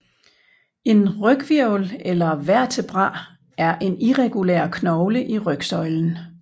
En ryghvirvel eller vertebra er en irregulær knogle i rygsøjlen